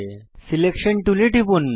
selection টুলে টিপুন